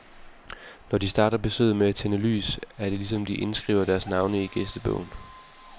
Når de starter besøget med at tænde lys, er det ligesom de indskriver deres navne i gæstebogen.